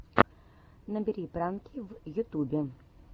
набери пранки в ютубе